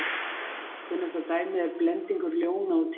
kunnasta dæmið er blendingur ljóna og tígrisdýrs